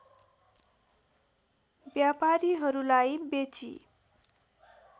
व्यापारीहरूलाई बेची